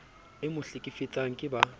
e mo hlekefetsang ke ba